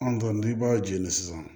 An n'i b'a jeni sisan